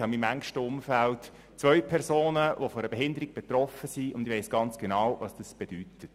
In meinem engsten Umfeld befinden sich zwei Personen, die von einer Behinderung betroffen sind, und ich weiss sehr genau, was das bedeutet.